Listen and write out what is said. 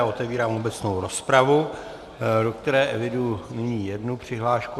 A otevírám obecnou rozpravu, do které eviduji nyní jednu přihlášku.